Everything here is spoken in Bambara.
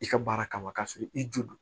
I ka baara kama k'a sɔrɔ i jo do